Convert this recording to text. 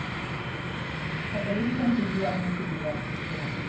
ਖਤਰੇ ਦੀ ਘੰਟੀ ਵੀ ਐ ਆਪਣੇ ਸ਼ਰੀਰ ਵਾਸਤੇ ਕਿਤੇ ਨਾ ਕਿਤੇ